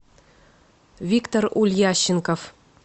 виктор ульященков